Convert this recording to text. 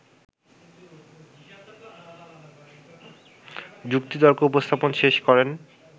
যুক্তিতর্ক উপস্থাপন শেষ করেন